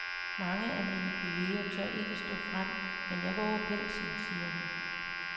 Mange af mine kolleger tør ikke stå frem, men jeg vover pelsen, siger hun.